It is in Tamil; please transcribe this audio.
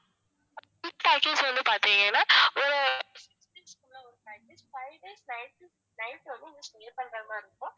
package வந்து பாத்திங்கன்னா அஹ் five days night night வந்து stay பண்ற மாதிரி இருக்கும்